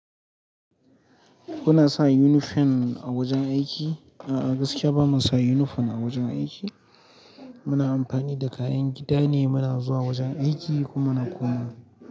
Kuna sa unifom a wajen aiki? A'a, gaskiya bamu sa unifom a wajen aiki. Muna amfani da kayan gida ne muna zuwa wajen aiki kuma na koma.